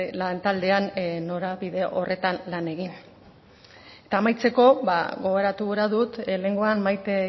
lantaldean norabide horretan lan egin eta amaitzeko gogoratu gura dut lehengoan maite